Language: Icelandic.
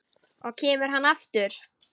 Og kemur hann aftur?